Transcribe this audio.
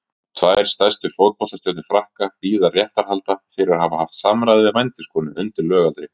Tvær stærstu fótboltastjörnur Frakka bíða réttarhalda fyrir að hafa haft samræði við vændiskonu undir lögaldri.